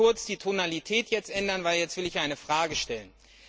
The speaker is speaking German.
Ich muss nur kurz die Tonalität ändern, denn jetzt will ich eine Frage stellen.